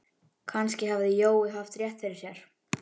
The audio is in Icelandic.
Kannski hafði Jói haft rétt fyrir sér.